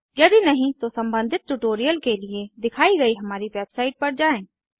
यदि नहीं तो सम्बंधित ट्यूटोरियल के लिए दिखाई गयी हमारी वेबसाइट पर जाएँ